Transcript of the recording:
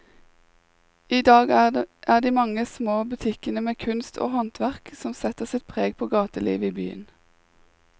I dag er det de mange små butikkene med kunst og håndverk som setter sitt preg på gatelivet i byen.